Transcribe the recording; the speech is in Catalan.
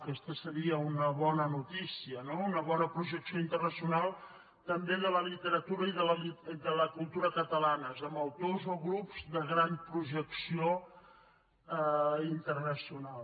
aquesta seria una bona notícia no una bona projecció internacional també de la literatura i de la cultura catalanes amb autors o grups de gran projecció internacional